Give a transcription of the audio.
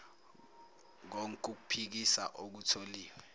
konk ukuphikisa okutholiwe